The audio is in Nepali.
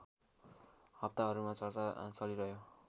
हप्ताहरूमा चर्चा चलिरह्यो